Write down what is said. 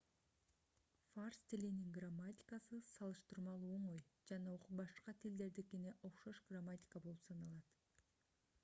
фарс тилинин грамматикасы салыштырмалуу оңой жана башка тилдердикине окшош грамматика болуп саналат